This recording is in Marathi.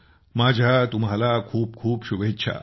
माझ्या तुम्हाला खूप खूप शुभेच्छा